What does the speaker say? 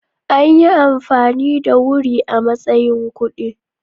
Anyi amfani da Wuri a matsayin kuɗi.